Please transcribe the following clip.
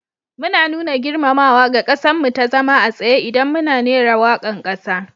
Mu na nuna girmamawaga kassan mu ta zama a tsaye idan muna rera wakan kasa.